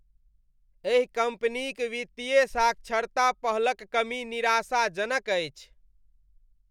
एहि कम्पनीक वित्तीय साक्षरता पहलक कमी निराशाजनक अछि।